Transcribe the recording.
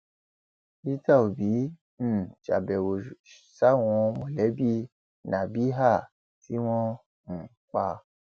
peter òbí um ṣàbẹwò sáwọn mọlẹbí nabéèhà tí wọn um pa